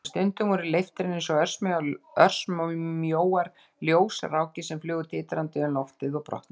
En stundum voru leiftrin eins og örmjóar ljósrákir sem flugu titrandi um loftið og brotnuðu.